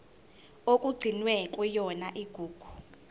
okugcinwe kuyona igugu